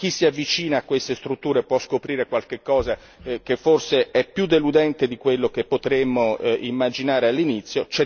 Chi si avvicina a queste strutture può scoprire qualche cosa che forse è più deludente di quello che potremmo immaginare all'inizio.